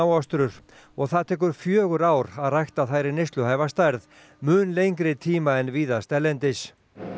smáostrur og það tekur fjögur ár að rækta þær í stærð mun lengri tíma en víðast erlendis